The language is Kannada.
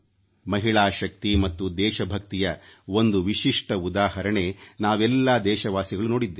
ಮಹಿಳಾ ಶಕ್ತಿ ಮತ್ತು ದೇಶಭಕ್ತಿಯ ಒಂದು ವಿಶಿಷ್ಟ ಉದಾಹರಣೆ ನಾವೆಲ್ಲಾ ದೇಶವಾಸಿಗಳು ನೋಡಿದ್ದೇವೆ